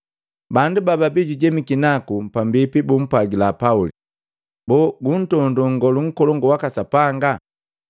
Bandu bababii jujemiki naku pambipi bumpwagila Pauli, “Boo guntondoo nngolu nkolongu waka Sapanga?”